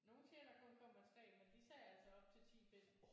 Nogle siger der kun kommer 3 men de sagde altså op til 10 bind